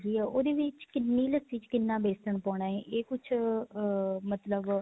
ਹੈਗੀ ਏ ਉਹਦੇ ਵਿੱਚ ਕਿੰਨੀ ਲੱਸੀ ਵਿੱਚ ਕਿੰਨਾ ਵੇਸਨ ਪਾਉਣਾ ਹੈ ਇਹ ਕੁੱਝ ਅਹ ਮਤਲਬ